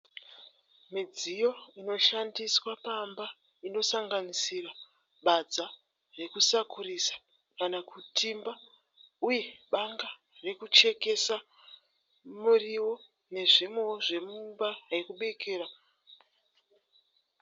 Midziyo inoshandiswa pamba inosanganisira badza rekusakurisa kana kutimba uye banga rekuchekesa muriwo nezvimwewo zvemumba yekubikira.